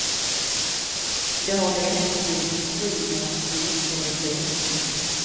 Det har delvis blivit en strid mellan storstad och glesbygd.